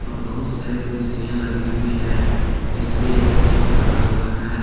बहुत सारे कुर्सियां लगी हुई है जिसपे एक पर्स रखा हुआ है।